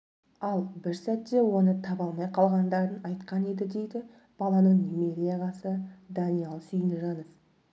ал бір сәтте оны таба алмай қалғандарын айтқан еді дейді баланың немере ағасы даниал сүйінжанов